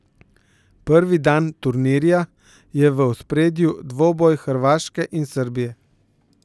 Prvi dan turnirja je v ospredju dvoboj Hrvaške in Srbije.